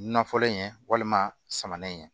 Nafɔlen in ye walima samanɛnɛ ye